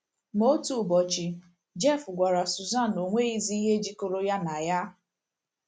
Ma otu ụbọchị, Jeff gwara Susan na o nweghịzi ihe jikọrọ ya na ya!